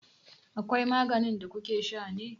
Akwai maganin da kukesha ne?